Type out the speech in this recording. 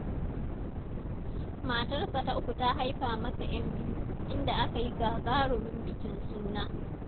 Matarsa ta uku ta haifa masa 'yan biyu, inda aka yi gagarumin bikin suna.